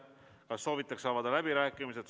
Kas soovitakse avada läbirääkimised?